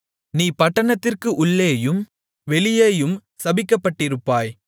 நீ பட்டணத்திற்கு உள்ளேயும் வெளியேயும் சபிக்கப்பட்டிருப்பாய்